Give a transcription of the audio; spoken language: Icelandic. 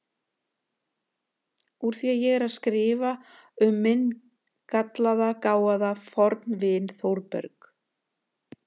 Úr því ég er að skrifa um minn gallaða, gáfaða fornvin Þórberg